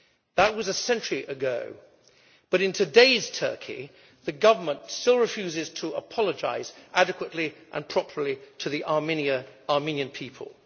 That was a century ago, but in today's Turkey the government still refuses to apologise adequately and properly to the Armenian people.